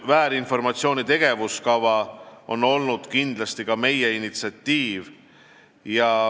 Väärinformatsiooniga seotud tegevuskava on olnud kindlasti ka meie initsiatiiv.